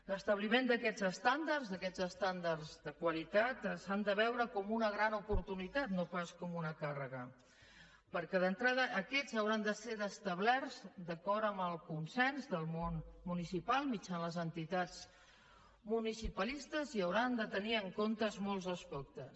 l’establiment d’aquests estàndards d’aquests estàndards de qualitat s’ha de veure com una gran oportunitat no pas com una càrrega perquè d’entrada aquests hauran de ser establerts d’acord amb el consens del món municipal mitjançant les entitats municipalistes i n’hauran de tenir en compte molts aspectes